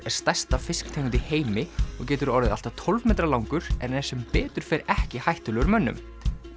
er stærsta fisktegund í heimi og getur orðið allt að tólf metra langur en er sem betur fer ekki hættulegur mönnum